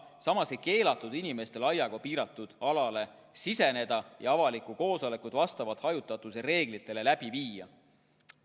Samas ei keelatud inimestel aiaga piiratud alale siseneda ja avalikku koosolekut vastavalt hajutatuse reeglitele läbi viia.